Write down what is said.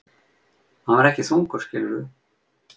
Hann var ekki þungur, skilurðu.